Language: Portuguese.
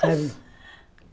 Sabe?